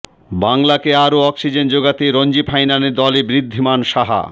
বাংলাকে আরও অক্সিজেন জোগাতে রঞ্জি ফাইনালে দলে ঋদ্ধিমান সাহা